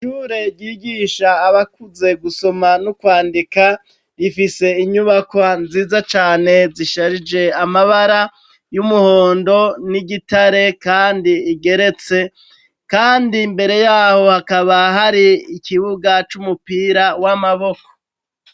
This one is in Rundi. Ishure ryigisha abakuze gusoma n' ukwandika, rifise inyubakwa nziza cane zisharije amabara y' umuhondo n' igitare, kandi rigeretse, kandi imbere y'aho hakaba hari ikibuga c' umupira w' amaboko.